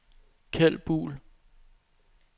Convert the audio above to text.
Keld Buhl